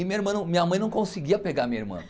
E minha irmã não minha mãe não conseguia pegar minha irmã.